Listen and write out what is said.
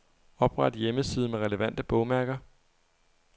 Opret hjemmeside med relevante bogmærker.